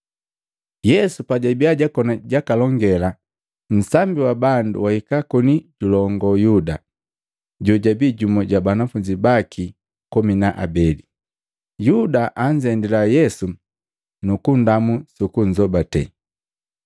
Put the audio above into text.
Yesu pajabia jakoni jakalongela, nsambi wa bandu wahika koni julongo Yuda, jojabi jumu ja banafunzi baki komi na abele. Yuda anzendila Yesu nu kundamu suku kumbate.